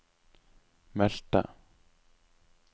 meldte